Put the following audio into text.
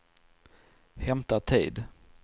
hämta tid